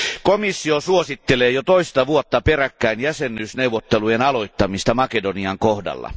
Komissio suosittelee jo toista vuotta peräkkäin jäsenyysneuvotteluiden aloittamista Makedonian kohdalla.